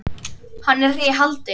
Hann er í haldi.